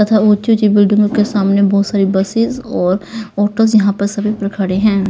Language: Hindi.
तथा ऊंची-ऊंची बिल्डिंगों के सामने बहुत सारी बसेस और ऑटोस यहां पर सभी पर खड़े हैं।